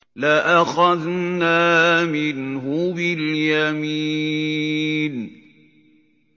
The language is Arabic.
لَأَخَذْنَا مِنْهُ بِالْيَمِينِ